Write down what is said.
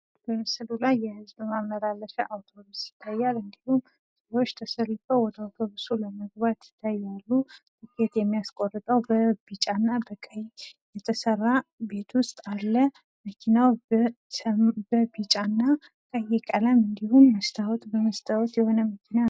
በምስሉ ላይ የህዝብ ማመላለሻ አውቶብስ ይታያል ።እንዲሁም ሰዎች ተሰልፈው ወደ ባሱ በመግባት ላይ እንዳሉ ያመለክታል። ትኬት የሚያስቆርጠው በቢጫ እና ቀይ ቤት ውስጥ አለ። መኪናው በቢጫና ቀይ ቀለም እንዲሁም መስታውት በመስታውት የሆነ መኪና ነው ።